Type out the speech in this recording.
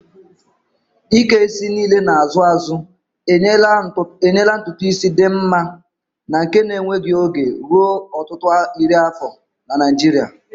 Ike isi niile na-azụ azụ enyela ntutu isi dị mma na nke na-enweghị oge ruo ọtụtụ iri afọ na Naijiria.